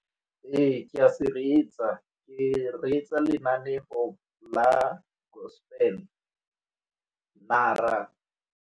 Ee, ke a se reetsa, ke reetsa lenaneo la gospel, mara.